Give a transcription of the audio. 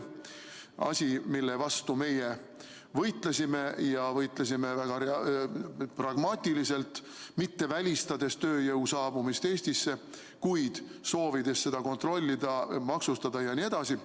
See on asi, mille vastu meie võitlesime ja võitlesime väga pragmaatiliselt, mitte välistades tööjõu saabumist Eestisse, vaid soovides seda kontrollida, maksustada jne.